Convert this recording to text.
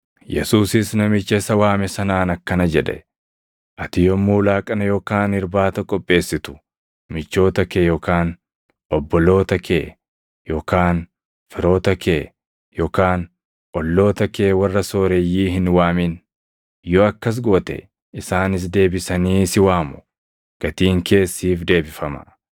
Yesuusis namicha isa waame sanaan akkana jedhe; “Ati yommuu laaqana yookaan irbaata qopheessitu michoota kee yookaan obboloota kee, yookaan firoota kee, yookaan olloota kee warra sooreyyii hin waamin; yoo akkas goote isaanis deebisanii si waamu; gatiin kees siif deebifama.